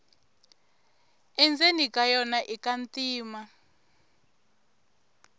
endzeni ka yona ika ntima